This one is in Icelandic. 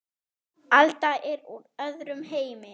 Alda er úr öðrum heimi.